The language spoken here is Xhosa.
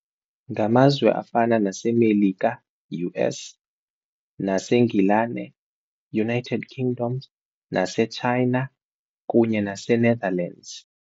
Ngamazwe afana naseMelika U_S, naseNgilane United Kingdoms, naseChina kunye naseNetherlands.